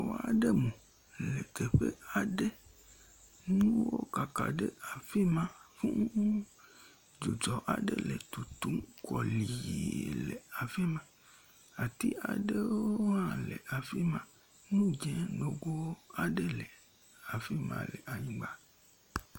Xɔ aɖe mu le teƒe aɖe, nuwo kaka ɖe afi ma, dzɔdzu aɖe le tutum kɔliiii le afi ma. Ati aɖewoo hã le afi ma, nu dzẽ nogo aɖe le afi ma le anyigba.